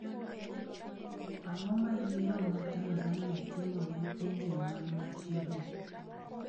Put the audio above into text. Ang’o ma yiero ma Tanzania timo ne pinje man machiegni?